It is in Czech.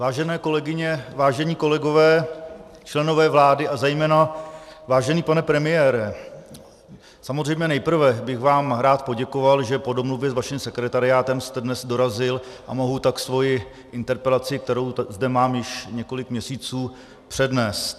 Vážené kolegyně, vážení kolegové, členové vlády a zejména vážený pane premiére, samozřejmě nejprve bych vám rád poděkoval, že po domluvě s vaším sekretariátem jste dnes dorazil a mohu tak svoji interpelaci, kterou zde mám již několik měsíců, přednést.